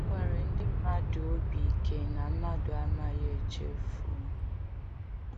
A kwere ndị mmadụ obi ike na mmadụ amaghi echefu.